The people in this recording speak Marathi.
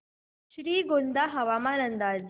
श्रीगोंदा हवामान अंदाज